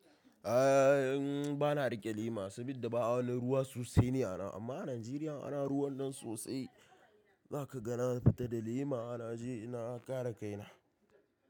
A ni ba na riƙe lema saboda ba a wani ruwa sosai ne a nan. Amma a Najeriya ana ruwan nan sosai, zaka ga na fita da lema na je na kare kaina.